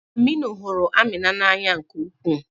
Aminu hụrụ Amina n'anya nke ukwuu.